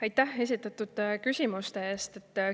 Aitäh esitatud küsimuste eest!